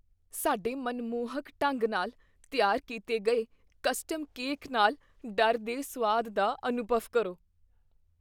ਸਾਡੇ ਮਨਮੋਹਕ ਢੰਗ ਨਾਲ ਤਿਆਰ ਕੀਤੇ ਗਏ ਕਸਟਮ ਕੇਕ ਨਾਲ ਡਰ ਦੇ ਸੁਆਦ ਦਾ ਅਨੁਭਵ ਕਰੋ।